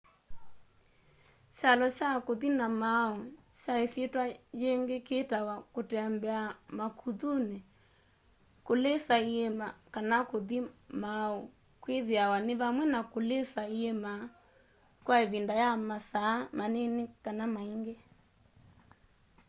kyalo kya kũthi na maũũ kwa ĩsyĩtwa yĩingĩ kĩĩtawa kũtembea makuthunĩ” kũlĩsa iĩma” kana kũthi maũũ” kĩthĩawa nĩ vamwe na kũlĩsa iĩma kwa ĩvinda ya masaa manini kana maingĩ